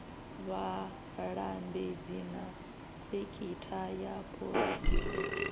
vhalambedzi na sekitha ya phuraivete